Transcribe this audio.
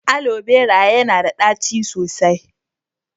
Alo berated yana da ɗaci sosai.